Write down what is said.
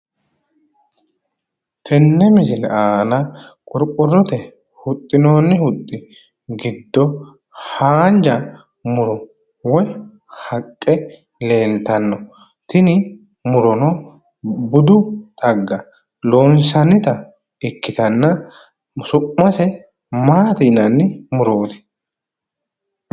Tenne misile aana qorqorote huxxinonni huxxi giddo haanja muro woy haqqe leeltanno tini murono budu xagga loonsannita ikkitanna su'mase maati yinanni?